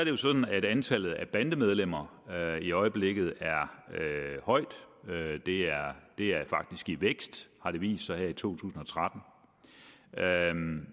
jo sådan at antallet af bandemedlemmer i øjeblikket er højt det er faktisk i vækst har det vist sig her i to tusind og tretten